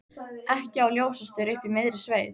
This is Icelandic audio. Ekki á ljósastaur uppi í miðri sveit.